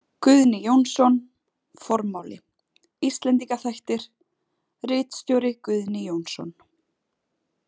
Guðni Jónsson, Formáli, Íslendinga þættir, ritstjóri Guðni Jónsson.